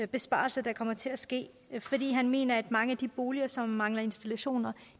besparelse der kommer til at ske fordi han mener at mange af de boliger som mangler installationer